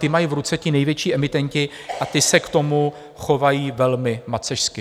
Ta mají v ruce ti největší emitenti a ti se k tomu chovají velmi macešsky.